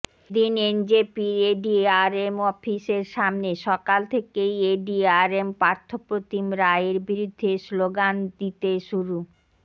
এদিন এনজেপির এডিআরএম অফিসের সামনে সকাল থেকেই এডিআরএম পার্থপ্রতিম রায়ের বিরুদ্ধে স্লোগান দিতে শুরু